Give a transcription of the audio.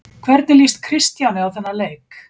Hvernig lýst Kristjáni á þann leik?